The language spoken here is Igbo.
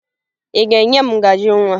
Ị ga-enye m ngaji nwa?